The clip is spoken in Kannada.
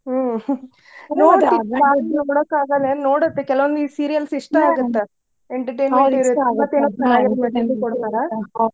ಹ್ಮ್ ನೋಡಾಕಾಗಲ್ ಎನ್ ನೋಡುತ್ತೇ ಕೆಲವಂದ್ ಈ serials ಇಷ್ಟ ಆಗುತ್ತ entertainment ಮತ್ತೇನ message ಉ ಕೊಡ್ತಾರ.